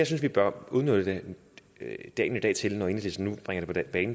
synes vi bør udnytte dagen i dag til når enhedslisten nu bringer